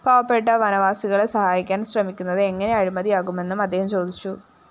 പാവപ്പെട്ട വനവാസികളെ സഹായിക്കാന്‍ ശ്രമിക്കുന്നത് എങ്ങനെ അഴിമതിയാകുമെന്നും അദ്ദേഹം ചോദിച്ചു